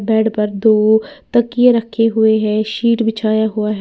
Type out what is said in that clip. Bed पर दो तकिये रखे हुए हैं शीट बिछाया हुआ है।